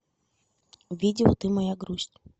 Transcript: видео ты моя грусть